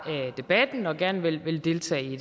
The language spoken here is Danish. debatten og gerne vil vil deltage i